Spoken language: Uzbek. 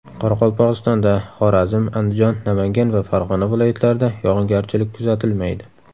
Qoraqalpog‘istonda, Xorazm, Andijon, Namangan va Farg‘ona viloyatlarida yog‘ingarchilik kuzatilmaydi.